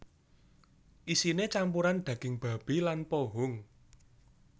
Isiné campuran daging babi lan pohung